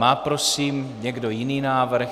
Má prosím někdo jiný návrh?